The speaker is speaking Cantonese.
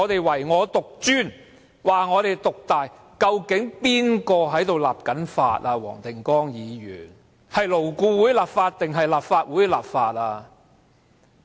黃定光議員，究竟誰負責立法？是勞顧會立法還是立法會立法？